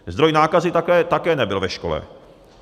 Zdroj nákazy také nebyl ve škole.